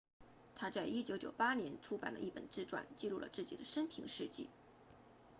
他在1998年出版了一本自传记录了自己的生平事迹